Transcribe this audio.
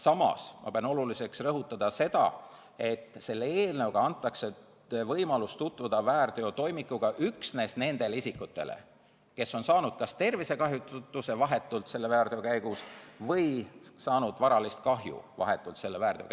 Samas pean oluliseks rõhutada, et selle eelnõuga antakse võimalus tutvuda väärteotoimikuga üksnes nendele isikutele, kes on saanud vahetult selle väärteo käigus kas tervisekahjustuse või varalist kahju.